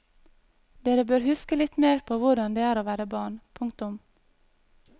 Dere bør huske litt mer på hvordan det er å være barn. punktum